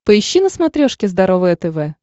поищи на смотрешке здоровое тв